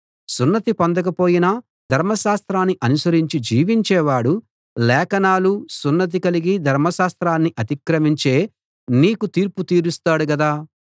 సున్నతి పొందకపోయినా ధర్మశాస్త్రాన్ని అనుసరించి జీవించేవాడు లేఖనాలూ సున్నతి కలిగి ధర్మశాస్త్రాన్ని అతిక్రమించే నీకు తీర్పు తీరుస్తాడు కదా